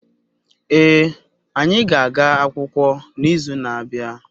Ee, anyi ga-aga akwukwo n'izu na-abia